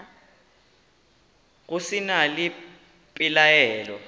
go se na le pelaelo